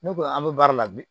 Ne ko an bɛ baara la bi